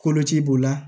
Koloci b'o la